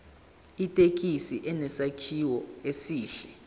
ithekisi inesakhiwo esihle